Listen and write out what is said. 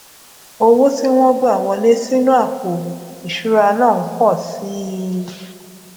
owó tí wón gbà wọlé sínú àpò ìṣura náà n po si i i